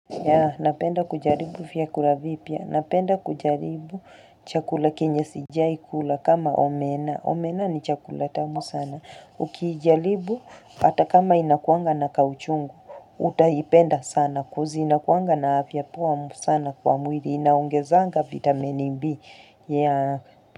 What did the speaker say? Yaa napenda kujaribu viakula vipia napenda kujaribu chakula kenyesi jayikula kama omena omena ni chakula tamu sana ukijaribu hata kama inakuanga na kauchungu utahipenda sana kozi inakuanga na avya puwa sana kwa mwiri inaongezanga vitamini mbi yaa.